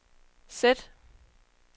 sæt